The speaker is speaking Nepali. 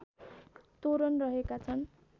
तोरण रहेका छन्